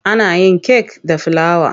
Ana yin kek da filawa.